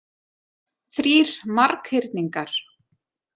Þrír marghyrningar.